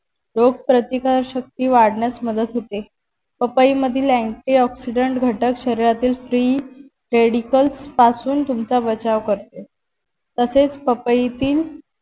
रोग प्रतिकार शक्ति वाढण्यास मदत होते पपई मधील anti oxidant घटक शरिरातील prerogatives पासून तुमचा बचाव करते तसेच पपईतील